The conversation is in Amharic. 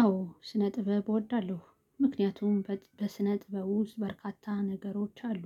አዎ ስነ ጥበብ እወዳለሁ ምክንያቱም በስነ ጥበብ ውስጥ በርካታ ነገሮች አሉ።